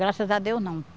Graças a Deus, não.